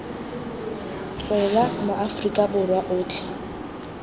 tswela ma aforika borwa otlhe